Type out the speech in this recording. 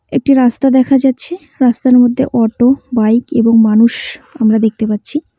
একটি রাস্তা দেখা যাচ্ছে রাস্তার মধ্যে অটো বাইক এবং মানুষ আমরা দেখতে পাচ্ছি।